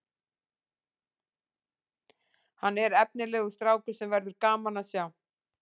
Hann er efnilegur strákur sem verður gaman að sjá